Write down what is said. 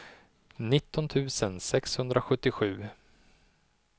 nitton tusen sexhundrasjuttiosju